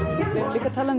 líka talað um